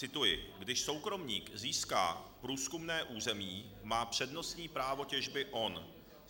Cituji: "Když soukromník získá průzkumné území, má přednostní právo těžby on.